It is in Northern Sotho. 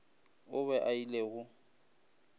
o be a ile go